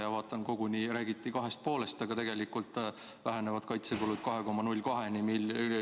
Ma vaatan, räägiti koguni 2,5‑st, aga tegelikult vähenevad kaitsekulud 2,02‑ni.